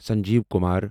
Sanjeev Kumar